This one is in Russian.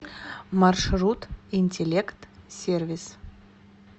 маршрут интеллект сервис